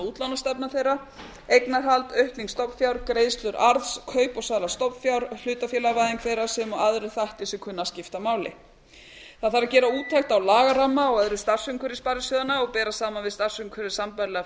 útlánastefna þeirra skoðuð eignarhald aukning stofnfjár greiðslur arðs kaup og sala stofnfjár hlutafélagavæðing þeirra sem og aðrir þættir sem kunna að skipta máli c gera úttekt á lagaramma og öðru starfsumhverfi sparisjóðanna og bera saman við starfsumhverfi sambærilegra